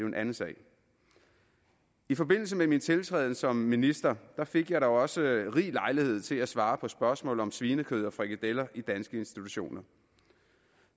en anden sag i forbindelse med min tiltrædelse som minister fik jeg da også rig lejlighed til at svare på spørgsmål om svinekød og frikadeller i danske institutioner